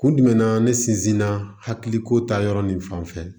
Kun jumɛn na ne sinzin na hakiliko ta yɔrɔ nin fanfɛ